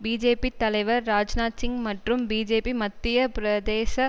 BJP தலைவர் ராஜ்நாத் சிங் மற்றும் BJP Madhya பிரதேச